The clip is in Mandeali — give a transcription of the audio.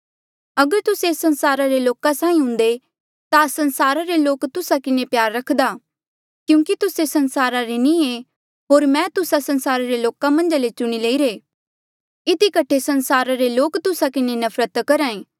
अगर तुस्से एस संसारा रे लोका साहीं हुंदे ता संसारे रे लोक तुस्सा किन्हें प्यार रखदा क्यूंकि तुस्से संसारा रे नी एे होर मैं तुस्से संसारा रे लोका मन्झा ले चुणी लईरे इधी कठे संसारा रे लोक तुस्सा किन्हें नफरत करहा